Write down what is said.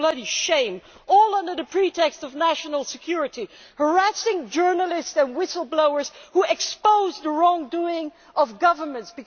It is a bloody shame all under the pretext of national security, harassing journalists and whistle blowers who expose the wrongdoing of governments.